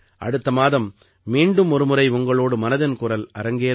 அடுத்த மாதம் மீண்டும் ஒருமுறை உங்களோடு மனதின் குரல் அரங்கேறும்